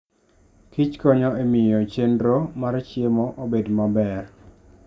Kich konyo e miyo chenro mar chiemo obed maber.